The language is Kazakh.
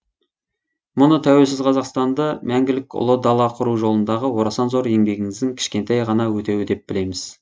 мұны тәуелсіз қазақстанды мәңгілік ұлы дала құру жолындағы орасан зор еңбегіңіздің кішкентай ғана өтеуі деп білеміз